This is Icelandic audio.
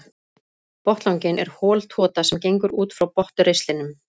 Botnlanginn er hol tota sem gengur út frá botnristlinum.